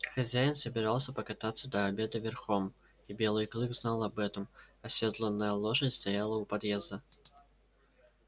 хозяин собирался покататься до обеда верхом и белый клык знал об этом осёдланная лошадь стояла у подъезда